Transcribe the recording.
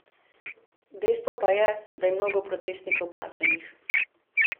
Dejstvo pa je, da je mnogo protestnikov plačanih.